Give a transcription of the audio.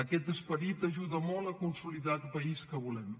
aquest esperit ajuda molt a consolidar el país que volem